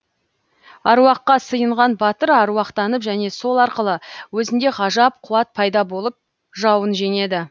әруаққа сыйынған батыр әруақтанып және сол арқылы өзінде ғажап қуат пайда болып жауын жеңеді